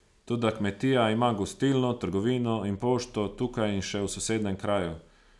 Toda kmetija ima gostilno, trgovino in pošto, tukaj in še v sosednjem kraju.